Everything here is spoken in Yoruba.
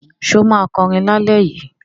Ṣé ó máa kọrin lálẹ́ yìí?